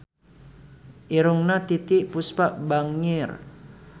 Irungna Titiek Puspa bangir